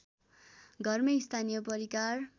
घरमै स्थानीय परिकार